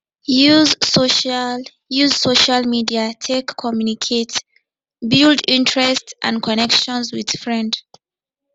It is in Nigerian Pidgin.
use social use social media take communicate build interest and connection with friend